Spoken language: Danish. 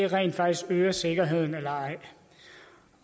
rent faktisk øger sikkerheden eller